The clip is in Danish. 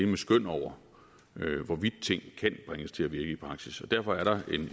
med skøn over hvorvidt ting kan bringes til at virke i praksis derfor er der